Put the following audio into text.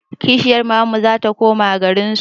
Kishiyar mamanmu zata koma garinsu